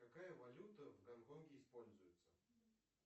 какая валюта в гонконге используется